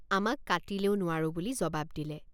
আমাক কাটিলেও নোৱাৰোঁ বুলি জবাব দিলে।